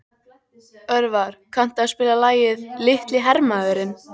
Örvar, kanntu að spila lagið „Litli hermaðurinn“?